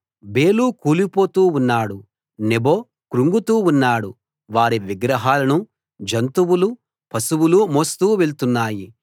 బేలు కూలిపోతూ ఉన్నాడు నెబో కృంగుతూ ఉన్నాడు వారి విగ్రహాలను జంతువులు పశువులు మోస్తూ వెళ్తున్నాయి